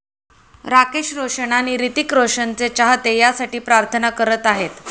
राकेश रोशन आणि हृतिक रोशनचे चाहते यासाठी प्रार्थना करत आहेत.